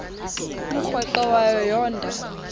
umrweqe wayo yoonda